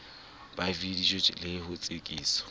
ba vidiyo le ho tsekiswa